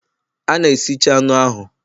A na-esicha anụ ahụ